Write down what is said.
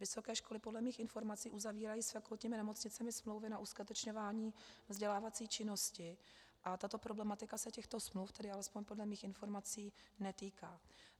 Vysoké školy podle mých informací uzavírají s fakultními nemocnicemi smlouvy na uskutečňování vzdělávací činnosti a tato problematika se těchto smluv, tedy alespoň podle mých informací, netýká.